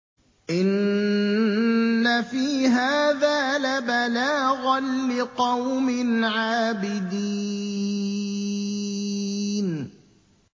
إِنَّ فِي هَٰذَا لَبَلَاغًا لِّقَوْمٍ عَابِدِينَ